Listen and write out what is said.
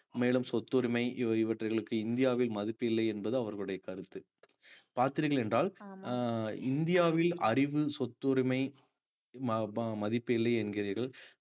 மேலும் சொத்துரிமை இவற்~ இவற்றைகளுக்கு இந்தியாவில் மதிப்பு இல்லை என்பது அவர்களுடைய கருத்து பார்த்தீர்கள் என்றால் அஹ் இந்தியாவில் அறிவு சொத்துரிமை ம~ ம~ மதிப்பு இல்லை என்கிறீர்கள்